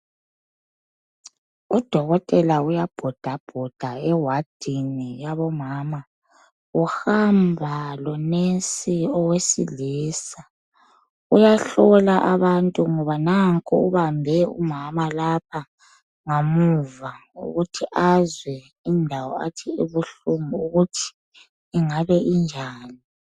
Udokotela uyabhodabhoda ewadini yabomama uhamba lonesi owesilisa uyahlola abantu ngoba nanko ubambe umama ngemuva ukuthi azwe indawo athi ibuhlungu ukuthi ingabe injani.